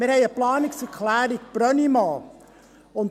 Wir haben eine Planungserklärung Brönnimann.